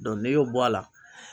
n'i y'o bɔ a la.